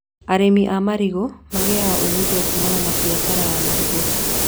Arĩmi a marigũ magĩaga umithio kumana na mbiacara ya marigũ